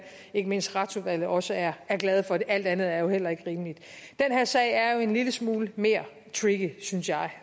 ikke mindst retsudvalget også er glade for alt andet er jo heller ikke rimeligt den her sag er jo en lille smule mere tricky synes jeg